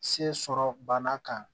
Se sɔrɔ bana kan